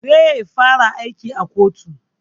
Zai fara aiki a kotu